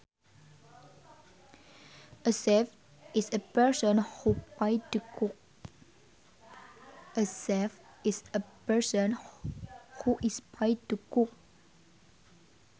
A chef is a person who is paid to cook